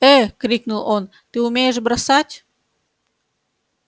э крикнул он ты умеешь бросать